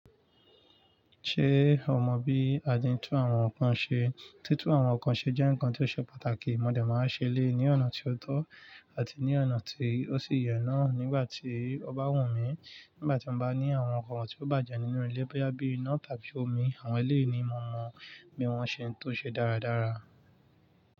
Ṣé o mọ bí a ti ń tú àwọn nǹkan ṣe? Títú àwọn nǹkan ṣe jẹ́ nǹkan tí ó ṣe pàtàkì. Mo dẹ̀ máa ṣẹlẹ̀ ní ọ̀nà tí ó tọ́ àti ní ọ̀nà tí ó sì yẹ náà nígbà tí ó bá wù mí. Nígbà tí mo bá ní àwọn oun tí ó bàjẹ́ nínú ilé bóyá bíi iná tàbí omi, àwọn eléèni mo mọ bí wọ́n ṣe ń tún ṣe dáradára.